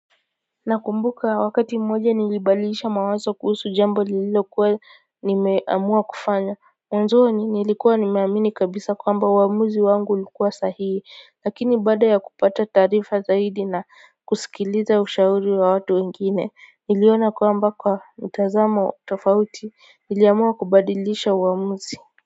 Na kumbuka wakati mmoja nilibadilisha mawazo kuhusu jambo lililo kuwa nimeamua kufanya. Mwanzoni nilikuwa nimeamini kabisa kwamba uamuzi wangu ulikuwa sahihi, lakini baada ya kupata taarifa zaidi na kusikiliza ushauri wa watu wengine. Niliona kwamba kwa mtazamo tofauti niliamua kubadilisha uamuzi.